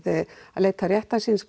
að leita réttar síns